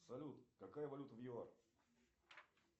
салют какая валюта в юар